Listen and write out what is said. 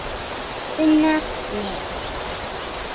Unnar Leó.